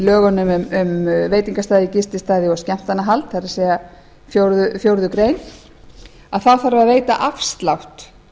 lögunum um veitingastaði gististaði og skemmtanahald það er fjórða grein þarf að veita afslátt